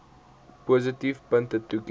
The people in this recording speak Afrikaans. positiewe punte toeken